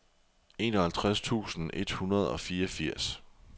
enoghalvtreds tusind et hundrede og fireogfirs